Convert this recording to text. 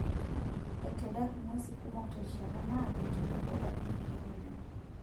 Aitadak ng'uesi kumok terishata naado tenebo adung' ilkeek oleng'.